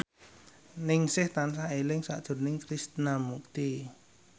Ningsih tansah eling sakjroning Krishna Mukti